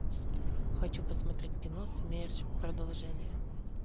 хочу посмотреть кино смерч продолжение